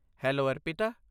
Hello, Arpita.